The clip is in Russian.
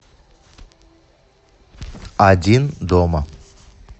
один дома